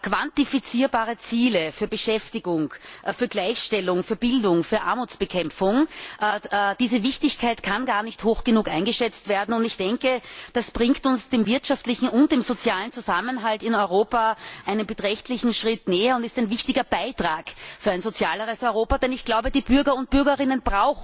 Quantifizierbare Ziele für Beschäftigung, für Gleichstellung, für Bildung, für Armutsbekämpfung Die Wichtigkeit dieser Themen kann gar nicht hoch genug eingeschätzt werden, und ich denke das bringt uns dem wirtschaftlichen und dem sozialen Zusammenhalt in Europa einen beträchtlichen Schritt näher und ist ein wichtiger Beitrag für ein sozialeres Europa. Denn ich glaube, dass die Bürger und Bürgerinnen